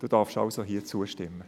Er darf somit hier zustimmen.